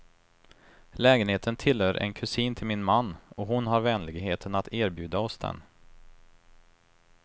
Lägenheten tillhör en kusin till min man, och hon har vänligheten att erbjuda oss den.